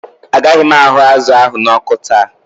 Ágaghi m ahụ́ azụ ahụ n'ọkụ